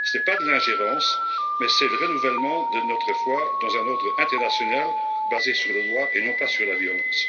Ce n'est pas de l'ingérence, mais le renouvellement de notre foi dans un ordre international basé sur le droit et non pas sur la violence.